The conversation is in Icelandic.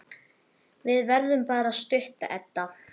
Við verðum bara stutt, Edda.